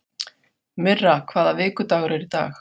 Myrra, hvaða vikudagur er í dag?